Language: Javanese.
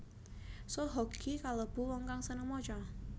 Soe Hok Gie kalêbu wong kang sênêng maca